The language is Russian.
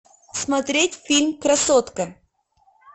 смотреть фильм красотка